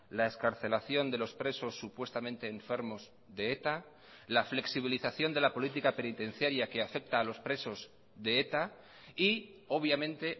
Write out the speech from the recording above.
la excarcelación de los presos supuestamente enfermos de eta la flexibilización de la política penitenciaria que afecta a los presos de eta y obviamente